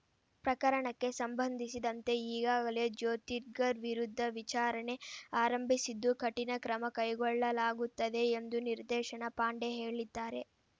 ಪ್ರಕರಣಕ್ಕೆ ಸಂಬಂಧಿಸಿದಂತೆ ಈಗಾಗಲೇ ಜ್ಯೋತಿರ್ಗರ್ ವಿರುದ್ಧ ವಿಚಾರಣೆ ಆರಂಭಿಸಿದ್ದು ಕಠಿಣ ಕ್ರಮಕೈಗೊಳ್ಳಲಾಗುತ್ತದೆ ಎಂದು ನಿರ್ದೇಶನ ಪಾಂಡೆ ಹೇಳಿದ್ದಾರೆ